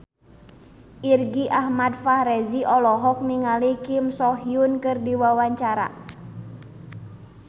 Irgi Ahmad Fahrezi olohok ningali Kim So Hyun keur diwawancara